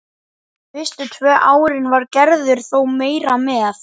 Fyrstu tvö árin var Gerður þó meira með.